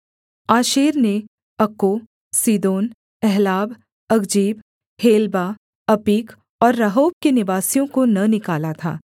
आशेर ने अक्को सीदोन अहलाब अकजीब हेलबा अपीक और रहोब के निवासियों को न निकाला था